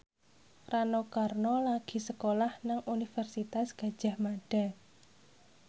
Rano Karno lagi sekolah nang Universitas Gadjah Mada